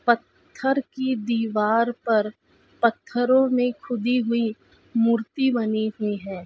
पत्थर की दीवार पर पत्थरो में खुदी हुई मूर्ति बनी हुई है।